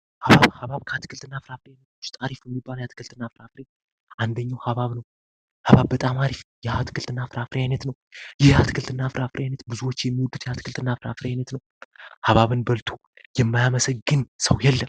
ሀባብ ከአትክልት እና ፍራ አፍር ይነቶች ጣሪፉ የሚባለ የአትክልት እና ፍራ ፍሬ አንደኛው አሀባብ ነው አሀባብ በጣም አሪፍ የአትክልት እና ፍራ አፍር ይነት ነው ይህ አትክልት እና ፍራ አፍር አይነት ብዙዎች የሚውዱት የአትክልት እና ፍራ ፍር ይነት ነው አሀባብን በልቱ የማያመሰግን ሰው የለም ።